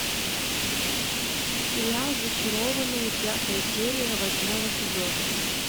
сериал зачарованные пятая серия восьмого сезона